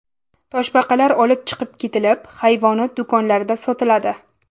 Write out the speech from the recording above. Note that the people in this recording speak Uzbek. Toshbaqalar olib chiqib ketilib, hayvonot do‘konlarida sotiladi.